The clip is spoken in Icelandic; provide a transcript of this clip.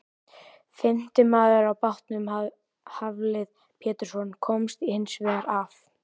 Fimmti maður á bátnum, Hafliði Pétursson, komst hins vegar af.